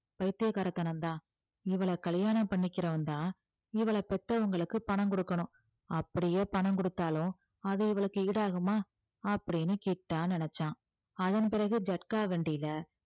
பைத்தியக்காரத்தனம் தான் இவளை கல்யாணம் பண்ணிக்கிறவன்தான் இவளை பெத்தவங்களுக்கு பணம் கொடுக்கணும் அப்படியே பணம் கொடுத்தாலும் அது இவளுக்கு ஈடாகுமா அப்படின்னு கிட்டா நினைச்சான் அதன் பிறகு ஜட்கா வண்டியில